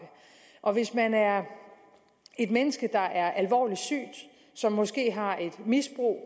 og hvis man er et menneske der er alvorligt sygt som måske har et misbrug